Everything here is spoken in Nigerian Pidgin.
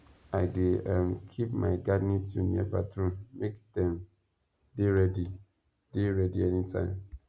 i dey um keep my gardening tool near bathroom make dem dey ready dey ready anytime